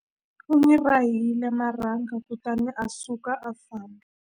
U n'wi rahile marhanga kutani a suka a famba.